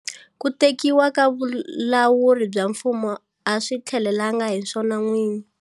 Ku tekiwa ka vulawuri bya mfumo a swi tihelelangi hi swona n'wini.